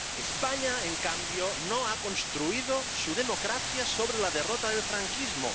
España, en cambio, no ha construido su democracia sobre la derrota del franquismo.